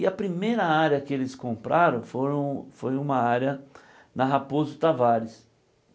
E a primeira área que eles compraram foram foi uma área na Raposo Tavares.